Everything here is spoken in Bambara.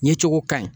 Ɲɛ cogo ka ɲi